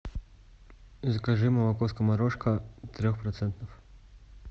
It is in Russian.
закажи молоко скоморошка трех процентов